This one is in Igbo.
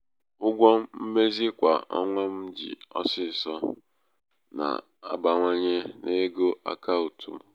ụgwọ mmezi kwa ọnwa m ji ọsịsọ na-abawanye n'ego akaụtụ m.